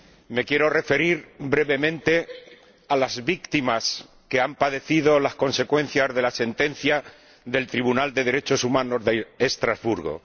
Me quiero referir brevemente a las víctimas de las consecuencias de la sentencia del Tribunal de Derechos Humanos de Estrasburgo.